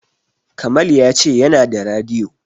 Kamal ya ce yana da radiyo.